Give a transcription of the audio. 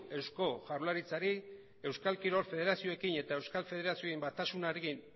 eusko jaurlaritzari euskal kirol federazioekin eta euskal federazioen batasunarekin